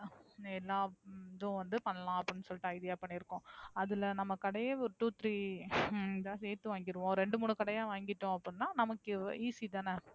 எல்லா இதும் வந்து பண்ணலாம் அப்டினு சொல்லிட்டு idea பண்ணியிருக்கிறோம். அதுல நம்ம கடையே ஒரு ரெண்டு மூணு கடையா சேர்ந்து வாங்கியிருவோம். இரண்டு முணு கடையா வாங்கிட்டோம்னா easy தன.